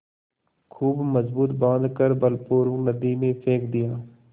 खूब मजबूत बॉँध कर बलपूर्वक नदी में फेंक दिया